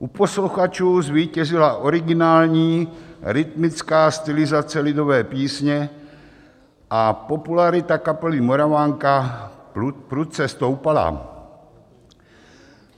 U posluchačů zvítězila originální rytmická stylizace lidové písně a popularita kapely Moravanka prudce stoupala.